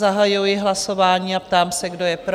Zahajuji hlasování a ptám se, kdo je pro?